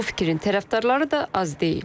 Bu fikrin tərəfdarları da az deyil.